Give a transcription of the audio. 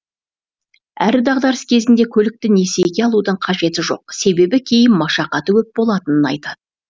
әрі дағдарыс кезінде көлікті несиеге алудың қажеті жоқ себебі кейін машақаты көп болатынын айтады